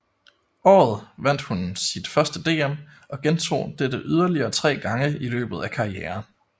Året vandt hun sit første DM og gentog dette yderligere tre gange i løbet af karrieren